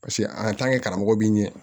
Paseke a karamɔgɔ b'i ɲɛ